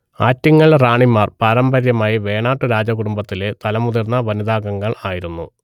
ആറ്റിങ്ങൽ റാണിമാർ പാരമ്പര്യമായി വേണാട്ടു രാജകുടുംബത്തിലെ തലമുതിർന്ന വനിതാംഗങ്ങൾ ആയിരുന്നു